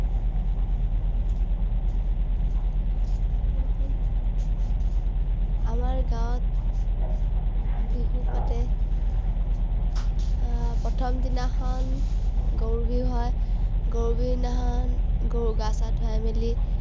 আৰু এখন আমাৰ গাঁৱত বিহু পাতে। আহ প্ৰথম দিনাখন গৰু বিহু হয়। গৰু বিহু দিনাখন, গৰু গা চা ধুৱাই মেলি